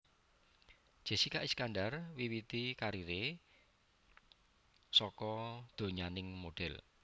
Jessika Iskandar miwiti kariré saka donyaning modhél